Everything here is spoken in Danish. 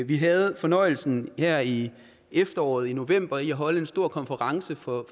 vi havde fornøjelsen her i efteråret i november af at holde en stor konference for